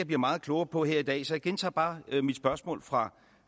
bliver meget klogere på her i dag så jeg gentager bare mit spørgsmål fra